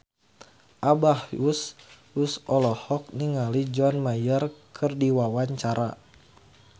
Abah Us Us olohok ningali John Mayer keur diwawancara